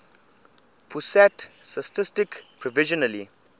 pusat statistik provisionally